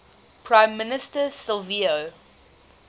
prime minister silvio